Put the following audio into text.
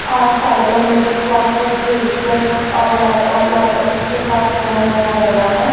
और साइडों में को बुक्स रजिस्टर्स और लैपटॉप लैपटॉप्स के साथ फोन रखा गया है।